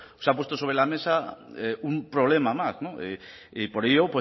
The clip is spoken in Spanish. se ha puesto sobre la mesa un problema más y por ello